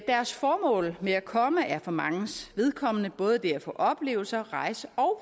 deres formål med at komme er for manges vedkommende både det at få oplevelser at rejse og